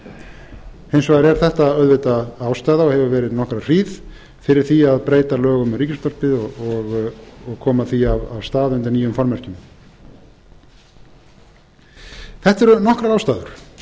hins vegar er þetta auðvitað ástæða og hefur verið nokkra hríð fyrir því að breyta lögum um ríkisútvarpið og koma því af stað undir nýjum formerkjum þetta eru nokkrar ástæður